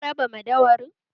Ka raba madauwarin?